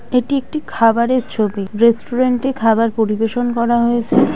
এটি একটি খাবারের ছবি রেস্টুরেন্ট এ খাবার পরিবেশন করা হয়েছে।